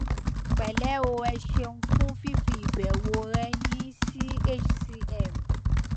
pẹlẹ o ẹ ṣéun fún fífi ìbẹwò rẹ yin sí hcm